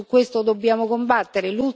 Anche su questo dobbiamo combattere.